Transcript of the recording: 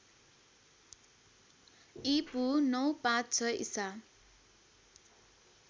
ईपू ९५६ ईसा